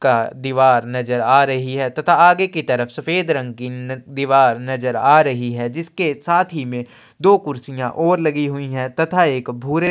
का दीवार नजर आ रही है तथा आगे की तरफ सफ़ेद रंग की दीवार नजर आ रही है जिसके साथ ही में दो कुर्सियाँ ओर लगी हुई है तथा एक भूरे --